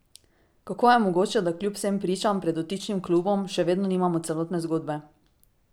Kako je mogoče, da kljub vsem pričam pred dotičnim klubom, še vedno nimamo celotne zgodbe?